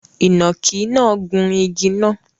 Ìnàkí náà gun igi náà